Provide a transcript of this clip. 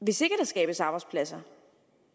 hvis ikke skabes arbejdspladser